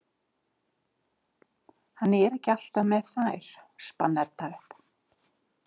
Hann er ekki alltaf með þær, spann Edda upp.